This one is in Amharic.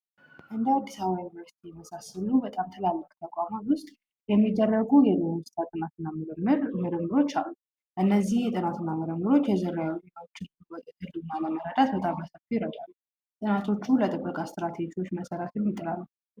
እንደ አዲስ አበባ ዩኒቨርስቲ በመሳሰሉ ትላልቅ ተቋማት ውስጥ የሚደረጉ የዱር እንስሳት ጥናት እና ምርምሮች አሉ። እነዚህ ጥናት እና ምርምሮች የዝር ጥናት ለማወቅ እና ለመረዳት በጣም በሰፊው ይረዳሉ። ጥናቶቹም ለጥበቃ ስትራቴጂዎች መሰረት ይጥላሉ።